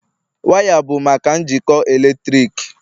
waya bụ maka njikọ eletrik